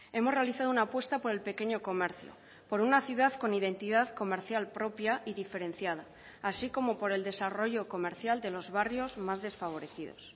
hemos realizado una apuesta por el pequeño comercio por una ciudad con identidad comercial propia y diferenciada así como por el desarrollo comercial de los barrios más desfavorecidos